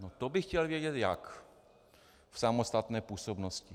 No to bych chtěl vědět jak, v samostatné působnosti.